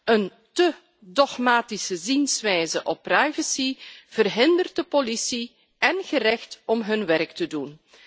Een te dogmatische zienswijze op privacy verhindert de politie en het gerecht om hun werk te doen.